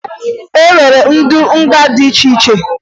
E nwere ụdị nga dị iche iche